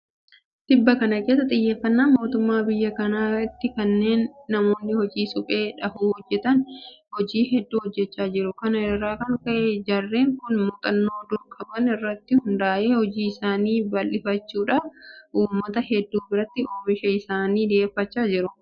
Tibba kana keessa xiyyeeffannaa mootummaan biyya kanaa itti kenneen namoonni hojii suphee dhahuu hojjetan hojii hedduu hojjechaa jiru. Kana irraa kan ka'e jarreen kun muuxxannoo dur qaban irratti hundaa'ee hojii isaanii bal'ifachuudhaan uummata hedduu biratti oomisha isaanii dhiyeeffachaa jiru.